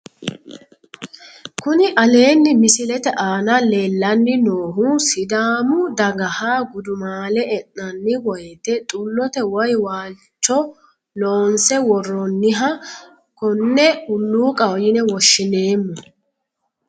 Kuni aleenni misilete aana leellanni noohu sidaamu dagaha gudumaale e'nanni woyte xullote woyi waalcho loonse worroonniha konne hulluuqaho yine woshshineemmo